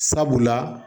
Sabula